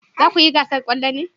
Za ku yi gasar kwallo ne?